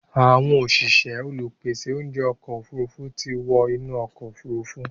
Àwọn òṣìṣẹ́ olùpèsè oúnjẹ ọkọ̀ òfurufú ti wọ́ inú ọkọ̀ òfuru